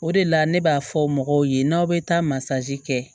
O de la ne b'a fɔ mɔgɔw ye n'aw bɛ taa masa kɛ